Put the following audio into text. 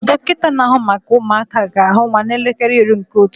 Dọkịta na-ahụ maka ụmụaka ga-ahụ nwa n'elekere iri nke ụtụtụ